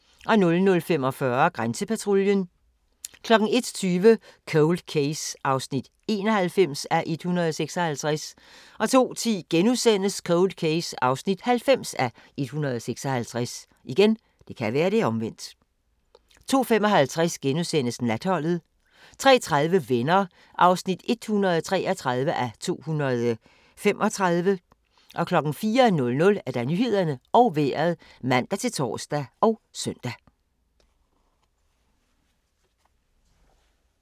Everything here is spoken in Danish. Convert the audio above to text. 00:45: Grænsepatruljen 01:20: Cold Case (91:156) 02:10: Cold Case (90:156)* 02:55: Natholdet * 03:30: Venner (133:235) 04:00: Nyhederne og Vejret (man-tor og søn)